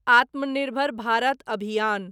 आत्मनिर्भर भारत अभियान